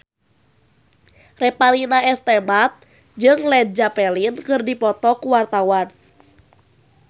Revalina S. Temat jeung Led Zeppelin keur dipoto ku wartawan